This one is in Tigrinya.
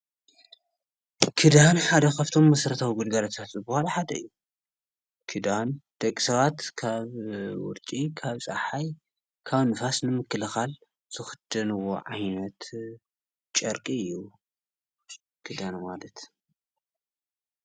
ክዳን ማለት ካብቶም መሰራታዊ ግልጋሎታት ዝበሃሉ ሓደ እዩ። ክዳን ደቂ ሰባት ካብ ቁሪ፣ ካብ ፀሓይ፣ ንፋስን ምክልካል ዝክደንዎ ዓይነት ጨርቂ እዩ። ክዳን ማለት።